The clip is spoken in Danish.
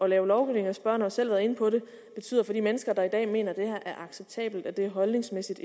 lave lovgivning og spørgeren selv været inde på det betyder at de mennesker der i dag mener at det er acceptabelt at det holdningsmæssigt